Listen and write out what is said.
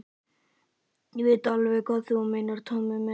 Ég veit alveg hvað þú meinar, Tóti minn.